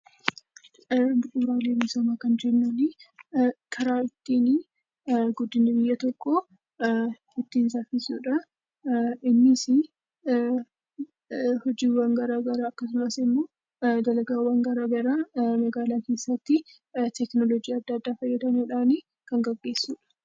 Bu'uuraalee misoomaa kan jennu karaa ittiin guddinni biyya tokkoo saffisudha. Innis hojiiwwan garaa garaa akkasumas immoo dalagaawwan garaa garaa magaalaa keessatti teeknooloojii adda addaa fayyadamuudhaan kan gaggeessudha.